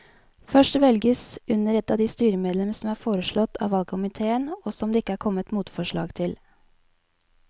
Først velges under ett de styremedlemmer som er foreslått av valgkomiteen og som det ikke er kommet motforslag til.